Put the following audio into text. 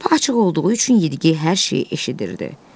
Qapı açıq olduğu üçün yediyi hər şeyi eşidirdi.